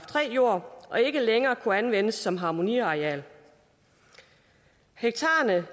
jord og ikke længere kunne anvendes som harmoniareal hektarerne